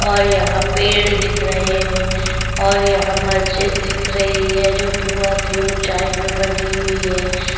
और यहाँ पेड़ दिख रहे है और यहाँ मस्जिद दिख रही है जोकि बहुत ही ऊंचाई में बनी हुई है।